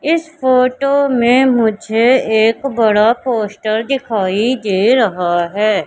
इस फोटो में मुझे एक बड़ा पोस्टर दिखाई दे रहा है।